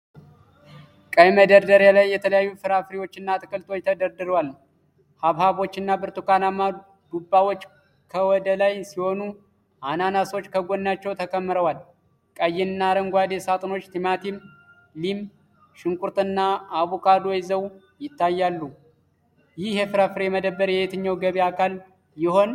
ቀይ መደርደሪያ ላይ የተለያዩ ፍራፍሬዎችና አትክልቶች ተደርድረዋል። ሐብሐቦችና ብርቱካንማ ዱባዎች ከወደ ላይ ሲሆኑ፣ አናናሶች ከጎናቸው ተከምረዋል። ቀይና አረንጓዴ ሳጥኖች ቲማቲም፣ ሊም፣ ሽንኩርትና አቮካዶ ይዘው ይታያሉ። ይህ የፍራፍሬ መደብር የየትኛው ገበያ አካል ይሆን?